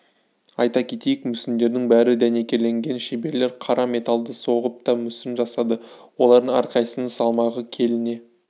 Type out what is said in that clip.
айта кетейік мүсіндердің бәрі дәнекерленген шеберлер қара металды соғып та мүсін жасады олардың әрқайсысының салмағы келіне